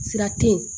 Sira te yen